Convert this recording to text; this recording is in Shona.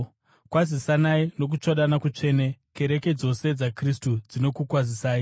Kwazisanai nokutsvodana kutsvene. Kereke dzose dzaKristu dzinokukwazisai.